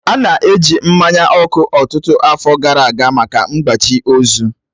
A na-eji mmanya ọkụ ọtụtụ afọ gara aga maka ịgbachi ozu.